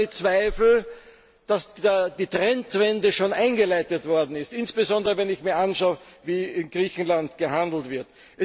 Ich habe nur meine Zweifel, dass die Trendwende schon eingeleitet worden ist, insbesondere wenn ich mir anschaue, wie in Griechenland gehandelt wird.